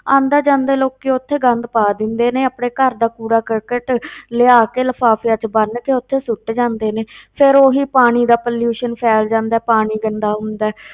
ਆਉਂਦੇ ਜਾਂਦੇ ਲੋਕੀ ਉੱਥੇ ਗੰਦ ਪਾ ਦਿੰਦੇ ਨੇ, ਆਪਣੇ ਘਰ ਦਾ ਕੂੜਾ ਕਰਕਟ ਲਿਆ ਕੇ ਲਿਫ਼ਾਫਿਆਂ ਵਿੱਚ ਬੰਨ ਕੇ ਉੱਥੇ ਸੁੱਟ ਜਾਂਦੇ ਨੇ ਫਿਰ ਉਹੀ ਪਾਣੀ ਦਾ pollution ਫੈਲ ਜਾਂਦਾ ਹੈ ਪਾਣੀ ਗੰਦਾ ਹੁੰਦਾ ਹੈ,